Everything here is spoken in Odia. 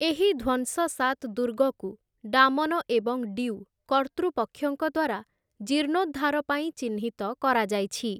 ଏହି ଧ୍ୱଂସସାତ୍‌ ଦୁର୍ଗକୁ ଡାମନ ଏବଂ ଡିଉ କର୍ତ୍ତୃପକ୍ଷଙ୍କ ଦ୍ୱାରା ଜୀର୍ଣ୍ଣୋଦ୍ଧାର ପାଇଁ ଚିହ୍ନିତ କରାଯାଇଛି ।